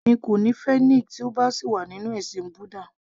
Èmi kò ní fẹ́ Nick tí ó bá sì wà nínú ẹ̀sìn búdà